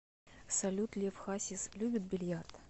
салют лев хасис любит бильярд